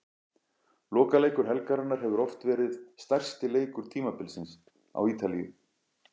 Lokaleikur helgarinnar hefur oft verið stærsti leikur tímabilsins á Ítalíu.